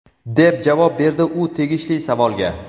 deb javob berdi u tegishli savolga.